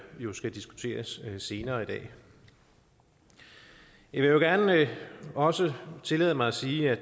jo skal diskuteres senere i dag jeg vil gerne også tillade mig at sige at